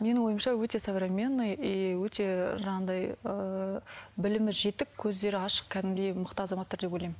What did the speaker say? менің ойымша өте современный и өте жаңағыдай ыыы білімі жетік көздері ашық кәдімгідей мықты азаматтар деп ойлаймын